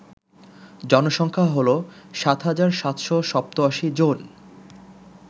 জনসংখ্যা হল ৭৭৮৭ জন